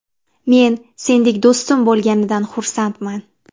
Men sendek do‘stim bo‘lganidan xursandman.